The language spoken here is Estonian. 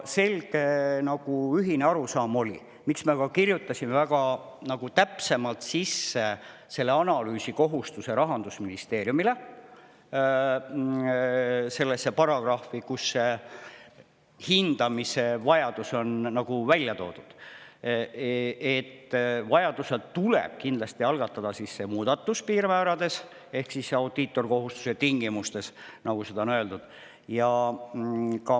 Selge ühine arusaam oli – miks me kirjutasime analüüsi tegemise kohustuse Rahandusministeeriumile väga täpselt sisse sellesse paragrahvi, kus see hindamise vajadus on ära toodud –, et vajaduse korral tuleb kindlasti algatada muudatus piirmäärades ehk audiitorkontrolli tegemise kohustuse tingimustes.